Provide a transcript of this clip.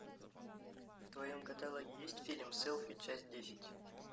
в твоем каталоге есть фильм селфи часть десять